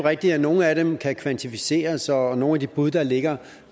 rigtigt at nogle af dem kan kvantificeres og for nogle af de bud der ligger